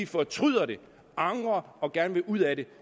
fortryder det angrer og gerne vil ud af det